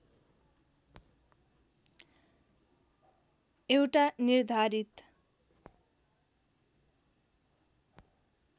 एउटा निर्धारित